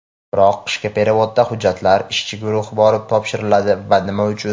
Biroq qishki perevodda hujjatlar ishchi guruhga borib topshiriladi va nima uchun?.